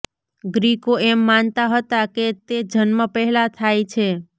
ગ્રીકો એમ માનતા હતા કે તે જન્મ પહેલાં થાય છે